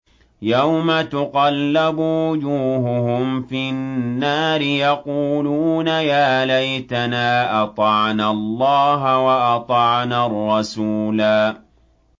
يَوْمَ تُقَلَّبُ وُجُوهُهُمْ فِي النَّارِ يَقُولُونَ يَا لَيْتَنَا أَطَعْنَا اللَّهَ وَأَطَعْنَا الرَّسُولَا